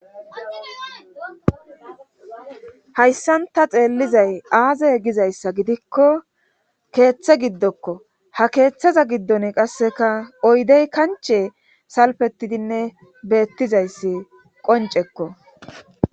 Hayssanta xeellizay aaze gizayssa gidikko keeththe giddokko ha keeththaza giddon qasseka oydey kanche salpetidinne beettizayssi qoncekko